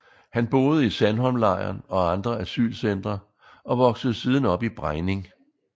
Han boede i Sandholmlejren og andre asylcentre og voksede siden op i Brejning